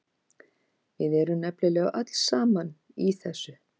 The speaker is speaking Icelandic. Við erum nefnilega öll saman í þessu.